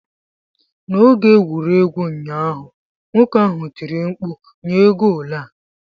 N'oge egwuregwu ụnyaahụ, nwoke ahụ tiri mkpu, "nyee goolu a!'